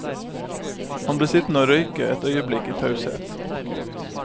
Han ble sittende og røke et øyeblikk i taushet.